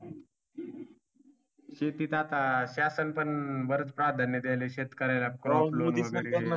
शेतीत आता शासन पण बरच प्राधान्य द्यायलय शेतकऱ्याला